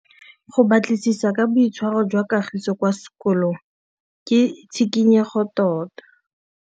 Go batlisisa ka boitshwaro jwa Kagiso kwa sekolong ke tshikinyêgô tota.